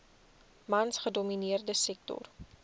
mans gedomineerde sektor